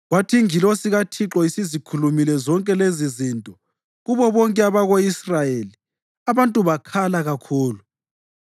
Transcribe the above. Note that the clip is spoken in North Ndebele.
Kwathi ingilosi kaThixo isizikhulumile zonke lezizinto kubo bonke abako-Israyeli, abantu bakhala kakhulu,